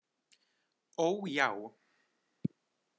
Ó, já.